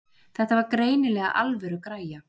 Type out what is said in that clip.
Þetta var greinilega alvöru græja.